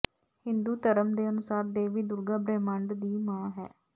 ਹਿੰਦੂ ਧਰਮ ਦੇ ਅਨੁਸਾਰ ਦੇਵੀ ਦੁਰਗਾ ਬ੍ਰਹਿਮੰਡ ਦੀ ਮਾਂ ਹੈ